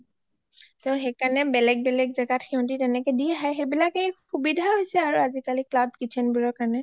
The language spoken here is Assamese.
টৌ সেইকাৰণে বেলেগ বেলেগ জাগাত হিহঁতে দি আহে সেইবিলাকে সুবিধা হৈছে আৰু আজিকালি cloud kitchen বিলাকৰ কাৰণে